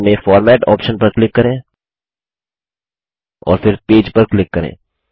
menu bar में format option पर click करें और फिर पेज पर क्लिक करें